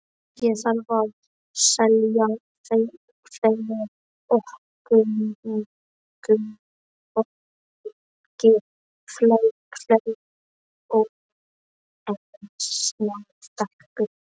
Ég þarf að selja fleira ókunnugu fólki fleiri ólesnar bækur.